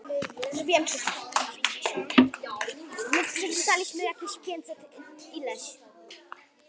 Eigendur Lotnu gerðu tilboð